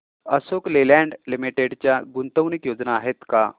Ashok Leyland Limited च्या गुंतवणूक योजना आहेत का